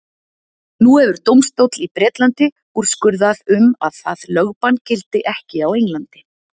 Nú hefur dómstóll í Bretlandi úrskurðað um að það lögbann gildi ekki á Englandi.